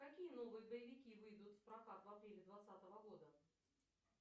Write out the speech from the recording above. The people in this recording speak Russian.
какие новые боевики выйдут в прокат в апреле двадцатого года